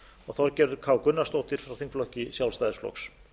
og þorgerður k gunnarsdóttir frá þingflokki sjálfstæðisflokks